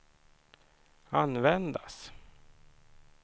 användas